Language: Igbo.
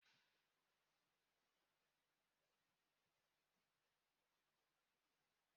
abụọ nwere ike ikewaa otu puku na iri isii na isii